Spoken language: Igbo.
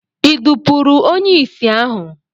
I dupuru onye isi ahu?